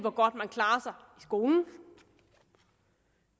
skolen